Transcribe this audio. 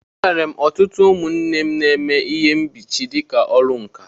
E nwere ọtụtụ ụmụnne m na-eme ihe mkpuchi dịka ọrụ nkà.